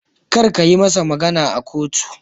Kar kayi masa magana a kotu.